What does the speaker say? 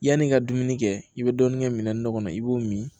Yanni i ka dumuni kɛ i bɛ dɔɔnin kɛ minɛnin dɔ kɔnɔ i b'o min